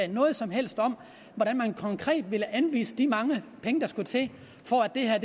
noget som helst om hvordan man konkret vil anvise de mange penge der skal til for at det her